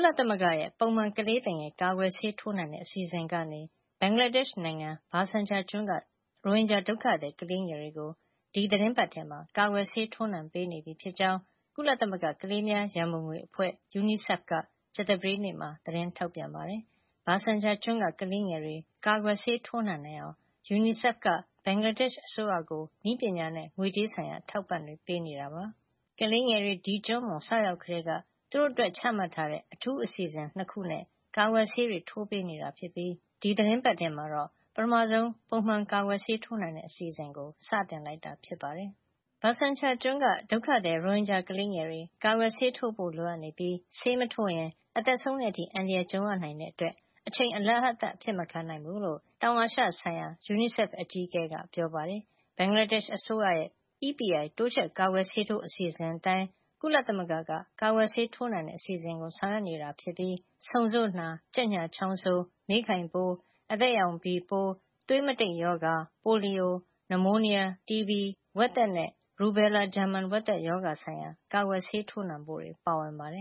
လသမဂ္ဂရဲ့ ပုံမှန် ကလေးသူငယ် ကာကွယ်ဆေးထိုးနှံတဲ့ အစီစဉ်ကနေ ဘင်္ဂလားဒေ့ရှ်နိုင်ငံ ဘာဆန်ချာကျွန်းက ရိုဟင်ဂျာ ဒုက္ခသည် ကလေးငယ်တွေကို ဒီသီတင်းပတ်ထဲမှာ ကာကွယ်ဆေး ထိုးနှံပေးနေပြီဖြစ်ကြောင်း ကုလသမဂ္ဂ ကလေးများရံပုံငွေအဖွဲ့ UNICEF က ကြာသပတေးနေ့မှာ သတင်းထုတ်ပြန်ပါတယ်။ ဘာဆန်ချာကျွန်းက ကလေးငယ်တွေ ကာကွယ်ဆေး ထိုးနှံနိုင်အောင် UNICEF က ဘင်္ဂလားဒေ့ရှ် အစိုးရကို နည်းပညာနဲ့ ငွေကြေးဆိုင်ရာ အထောက်အပံတွေ ပေးနေတာပါ။ ကလေးငယ်တွေ ဒီကျွန်းပေါ် စရောက်ကတည်းက သူတို့အတွက် ချမှတ်ထားတဲ့ အထူးအစီစဉ် ၂ ခုနဲ့ ကာကွယ်ဆေးတွေ ထိုးပေးနေတာ ဖြစ်ပြီး ဒီသီတင်းပတ်ထဲမှာတော့ ပထမဆုံး ပုံမှန် ကာကွယ်ဆေး ထိုးနှံတဲ့ အစီစဉ် စတင်လိုက်တာ ဖြစ်ပါတယ်။ ဘာဆန်ချာကျွန်းက ဒုက္ခသည် ရိုဟင်ဂျာ ကလေးငယ်တွေ ကာကွယ်ဆေးထိုးဖို့ လိုအပ်နေပြီး ဆေးမထိုးရင် အသက်ဆုံးတဲ့ အထိ အန္တရာယ် ကြုံရနိုင်တာကြောင့် အချိန်တွေ အလဟဿ အဖြစ် မခံနိုင်ဘူးလို့ ဧပြီလ ၂၀ နဲ့ ၂၁ ရက်တွေမှာ ဘာဆန်ချာကျွန်းကို သွားရောက်ခဲ့တဲ့ တောင်အာရှ ဆိုင်ရာ UNICEF အကြီးအကဲ George Laryea-Adjei က ပြောပါတယ်။ ဘင်္ဂလားဒေ့ရှ် အစိုးရရဲ့ EPI တိုးချဲ့ ကာကွယ်ဆေးထိုးအစီစဉ်အတိုင်း ကုလသမဂ္ဂက ကာကွယ်ဆေး ထိုးနှံတဲ့ အစီစဉ်ကို ဆောင်ရွက်နေတာဖြစ်ပြီး ဆုံဆို့နာ၊ ကြက်ညှာချောင်းဆိုး၊ မေးခိုင်ပိုး၊ အသဲရောင် ဘီပိုး၊ သွေးမတိတ်ရောဂါ၊ ပိုလီယို၊ နမိုးနီးယား၊ TB ၊ ဝက်သက်နဲ့ ရူဘဲလာ ဂျာမန်ဝက်သက် ရောဂါဆိုင်ရာ ကာကွယ်ဆေး ထိုးနှံဖို့တွေ ပါဝင်ပါတယ်